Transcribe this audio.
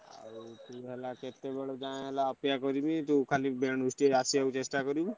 ଆଉ ହେଲା କେତେବେଳେ ଚେଷ୍ଟା କରିବୁ।